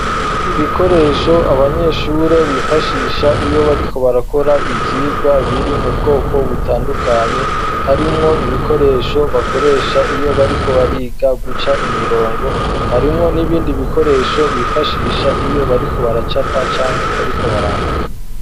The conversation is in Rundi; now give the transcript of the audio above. Ibikoresho, abanyeshure bifashisha, iyo bariko barakora, ivyigwa, biri mu bwoko butandukanye; harimwo ibikoresho bakoresha, iyo bariko bariga guca imirongo, harimwo n'ibindi bikoresho, bifashisha, iyo bariko baracapa, canke bariko barandika.